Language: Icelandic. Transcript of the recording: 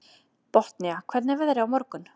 Botnía, hvernig er veðrið á morgun?